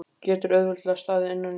Getur auðveldlega staðið innan í honum.